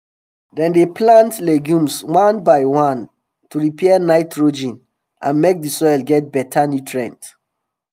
dem dey plant legumes one by one to repair um nitrogen and make d soil get beta nutrients